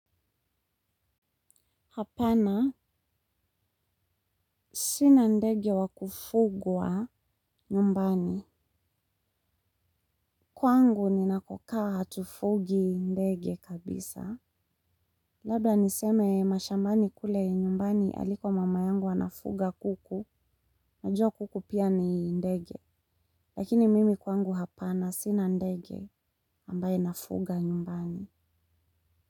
Hapana sina ndege wa kufugwa nyumbani. Kwangu ninakokaa hatufugi ndege kabisa. Labda niseme mashambani kule nyumbani aliko mama yangu anafuga kuku. Unajua kuku pia ni ndege. Lakini mimi kwangu hapana sina ndege ambaye nafuga nyumbani.